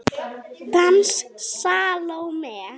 Dans Salóme.